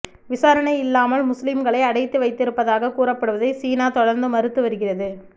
விசாரணை இல்லாமல் முஸ்லிம்களை அடைத்து வைத்திருப்பதாகக் கூறப்படுவதை சீனா தொடர்ந்து மறுத்து வருகிறது